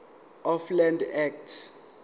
of land act